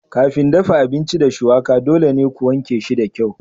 Kafin dafa abinci da shuwaka dole ne ku wanke shi da kyau.